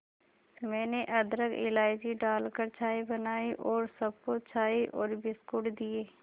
मैंने अदरक इलायची डालकर चाय बनाई और सबको चाय और बिस्कुट दिए